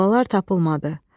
Balalar tapılmadı.